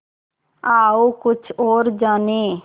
आओ कुछ और जानें